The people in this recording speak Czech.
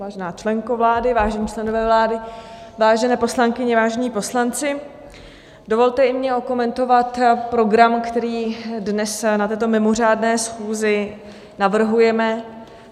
Vážená členko vlády, vážení členové vlády, vážené poslankyně, vážení poslanci, dovolte i mně okomentovat program, který dnes na této mimořádné schůzi navrhujeme.